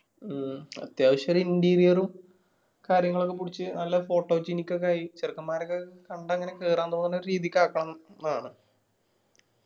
മ്മ് അത്യാവശ്യം ഒരു interior ഉം കാര്യങ്ങളൊക്കെ പുടിച് നല്ല photogenic ഒക്കെ ആയി ചെറുക്കന്മാരൊക്കെ കണ്ടാ ഇങ്ങനെ കേറാൻ തോന്നുന്ന ഒരു രീതിക്ക് ആക്കണം ന്നു ആണ്.